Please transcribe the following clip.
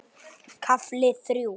KAFLI ÞRJÚ